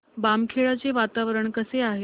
बामखेडा चे वातावरण कसे आहे